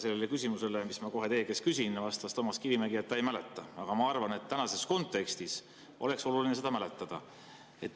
Sellele küsimusele, mis ma kohe teie käest küsin, vastas Toomas Kivimägi, et ta ei mäleta, aga ma arvan, et tänases kontekstis oleks oluline seda mäletada.